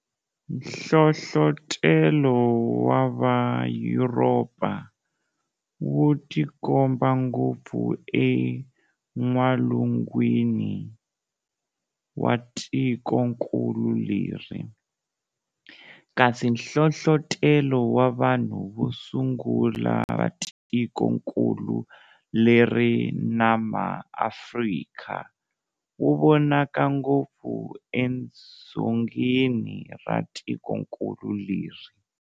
Nhlohlotelo wa va Yuropa wu tikomba ngopfu en'walungwini wa tikonkulu leri, kasi nhlohlotelo wa vanhu vosungula va tikonkulu leri na ma Afrika, wu vonaka ngopfu e dzongeni ra tikonkulu leri.